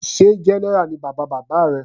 Sé general ni bàbá bàbá rẹ.